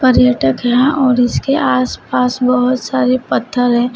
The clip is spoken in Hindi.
पर्यटक है यहां और इसके आस पास बहुत सारे पत्थर हैं।